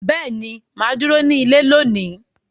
Beeni, maa duro ni ile loni.